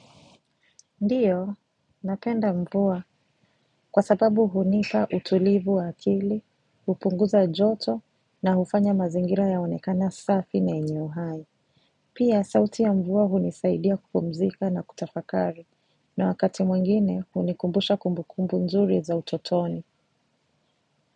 Ndiyo, napenda mvua kwa sababu hunipa utulivu wa akili, hupunguza joto na hufanya mazingira yaonekana safi na yenye uhai. Pia, sauti ya mvua hunisaidia kupumzika na kutafakari, na wakati mwingine hunikumbusha kumbukumbu nzuri za utotoni.